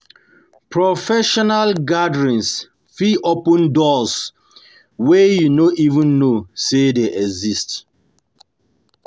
Professional Professional gatherings fit open doors wey you no even know say dey exist.